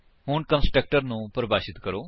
ਹੁਣ ਕੰਸਟਰਕਟਰ ਨੂੰ ਪਰਿਭਾਸ਼ਿਤ ਕਰੋ